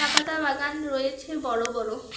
পাতা বাগান রয়েছে বড় বড়।